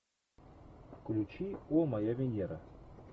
включи о моя венера